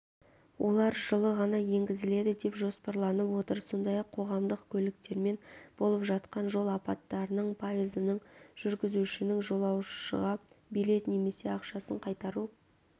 олар жылы ғана енгізіледі деп жоспарланып отыр сондай-ақ қоғамдық көліктермен болып жатқан жол апаттарының пайызының жүргізушінің жолаушыға билет немесе ақшасын қайтару